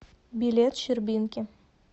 билет щербинки